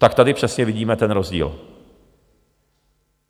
Tak tady přesně vidíme ten rozdíl.